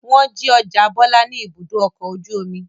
Wọ́n jí ọjà Bọ́lá ní Ibùdó-ọkọ̀ ojú-omi.